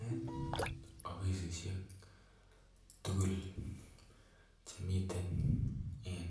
En offisisiek tukul chemiten en